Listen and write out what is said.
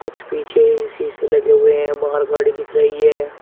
कुछ पीछे शीशे लगे हुए हैं बाहर गाड़ी दिख रही है।